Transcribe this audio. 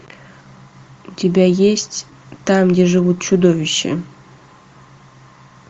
у тебя есть там где живут чудовища